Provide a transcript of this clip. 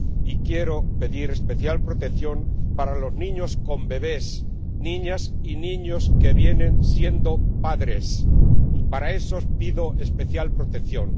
Y quiero pedir especial protección para los niños con bebés, niñas y niños que vienen siendo padres, y para esos pido especial protección.